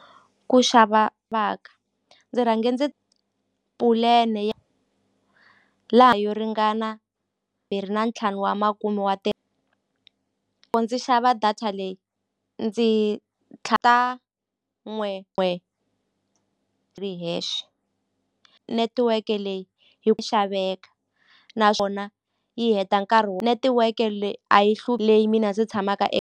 Ku xava va ka ndzi rhange ndzi pulene laha yo ringana mbiri na ntlhanu wa makume wa ku ndzi xava data leyi ndzi n'we n'we ri hexe netiweke leyi yi ku xaveka naswona yi heta nkarhi wo netiweke leyi a yi leyi mina ndzi tshamaka .